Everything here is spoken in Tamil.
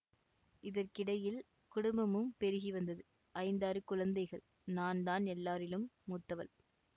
இதற்கிடையில் குடும்பமும் பெருகி வந்தது ஐந்தாறு குழந்தைகள் நான் தான் எல்லாரிலும் மூத்தவள்